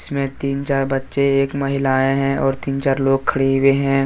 में तीन चार बच्चे एक महिलाए हैं और तीन चार लोग खड़े हुए हैं।